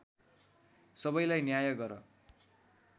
सबैलाई न्याय गर